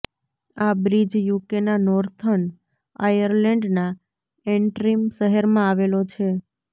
આ બ્રીજ યુકેના નોર્થન આયર્લેન્ડના ઍન્ટ્રિમ શહેરમાં આવેલો છે